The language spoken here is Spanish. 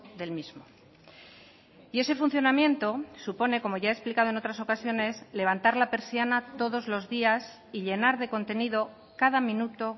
del mismo y ese funcionamiento supone como ya he explicado en otras ocasiones levantar la persiana todos los días y llenar de contenido cada minuto